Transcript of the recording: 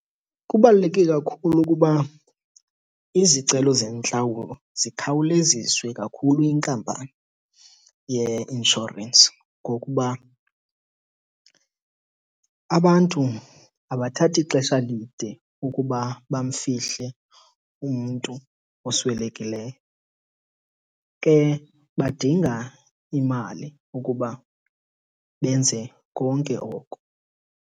Kubaluleke kakhulu ukuba izicelo zentlawulo zikhawuleziswe kakhulu yinkampani yeinshorensi ngokuba abantu abathathi xesha lide ukuba bamfihle umntu oswelekileyo, ke badinga imali ukuba benze konke oko.